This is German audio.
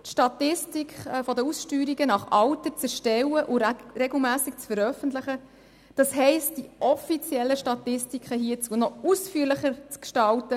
Für die Berner Wirtschaft (beco) sollte es durchaus machbar sein, die Statistik der Ausgesteuerten nach Alter zu erstellen und regelmässig zu veröffentlichen, das heisst die offiziellen Statistiken hier jetzt noch ausführlicher zu gestalten.